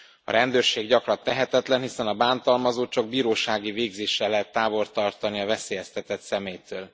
A rendőrség gyakran tehetetlen, hiszen a bántalmazót csak bírósági végzéssel lehet távol tartani a veszélyeztetett személytől.